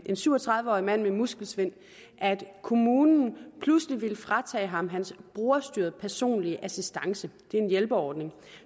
syv og tredive årig mand med muskelsvind at kommunen pludselig ville fratage ham hans brugerstyrede personlige assistance det er en hjælperordning